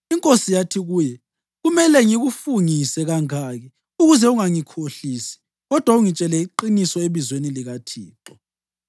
Inkosi yathi kuye, “Kumele ngikufungise kangaki ukuze ungangikhohlisi kodwa ungitshele iqiniso ebizweni likaThixo?”